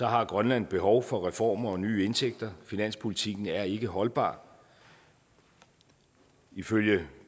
har grønland behov for reformer og nye indtægter finanspolitikken er ikke holdbar ifølge